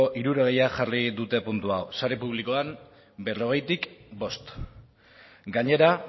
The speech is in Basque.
hirurogeia jarri dute puntu hau sare publikoan berrogeitik bost gainera